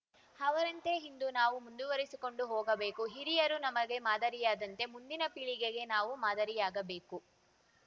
ಅವರಂತೆ ಇಂದು ನಾವು ಮುಂದುವರಿಸಿಕೊಂಡು ಹೋಗಬೇಕು ಹಿರಿಯರು ನಮಗೆ ಮಾದರಿಯಾದಂತೆ ಮುಂದಿನ ಪೀಳಿಗೆಗೆ ನಾವು ಮಾದರಿಯಾಗಬೇಕು